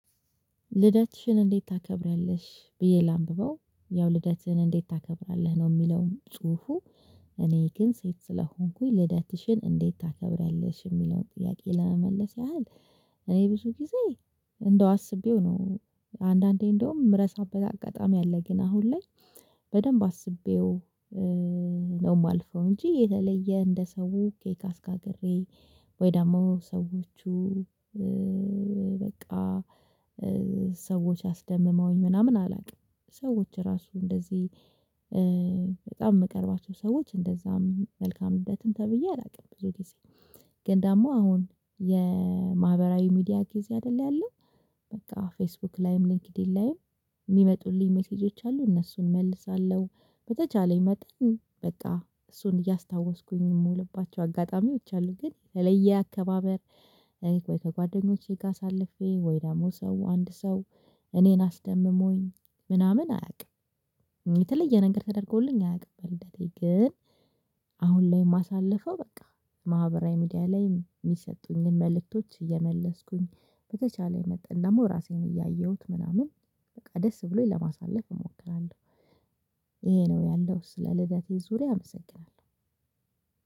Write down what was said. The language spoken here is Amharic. ልደትሽን እንዴት ታከብሪያለሽ ብዬ ላንብበው ያው ልደትሽን እንዴት ታከብራለህ ነው የሚለውም ጽሁፉ? እኔ ግን ሴት ስለሆንኩኝ ልደትሽን እንዴት ታከብሪያለሽ የሚለውን ጥያቄ ለመመለስ ያህል። እኔ ብዙ ጊዜ እንደው አስቤው ነው። አንዳንዴ እንደውም ምረሳበት አጋጣሚ አለ ግን አሁን ላይ በደንብ አስቤው ነው የማልፈው እንጂ የተለየ እንደ ሰው ኬክ አስጋግሬ ወይ ደግሞ ሰዎቹ በቃ ሰዎች አስደምመውኝ ምናምን አላውቅም። ሰዎች ራሱ እንደዚህ በጣም የምቀርባቸው ሰዎች እንደዛም መልካም ልደትም ተብዬ አላውቅም ብዙ ጊዜ ግን ደግሞ አሁን የማህበራዊ ሚዲያ ጊዜ አይደለም ያለው። በቃ ፌስቡክ ላይም ሊንክድኢን ላይም የሚመጡልኝ ሜሴጆች አሉ እነሱን እመልሳለሁ። በተቻለኝ መጠን በቃ እሱን እያስታወስኩኝ የምውልባቸው አጋጣሚዎች አሉ ግን ተለየ አከባበር። ወይ ከጓደኞቼ ጋር አሳልፌ ወይ ደግሞ ሰው አንድ ሰው እኔን አስደምሞኝ ምናምን አያውቅም። የተለየ ነገር ተደርጎልኝ አያውቅም በልደቴ ግን። አሁን ላይ የማሳልፈው በቃ ማህበራዊ ሚዲያ ላይ የሚሰጡኝን መልእክቶች እየመለስኩኝ በተቻለኝ መጠን ደግሞ ራሴን እያየሁት ምናምን በቃ ደስ ብሎኝ ለማሳለፍ እሞክራለሁ። ይሄ ነው ያለው ስለ ልደቴ ዙሪያ አመሰግናለሁ።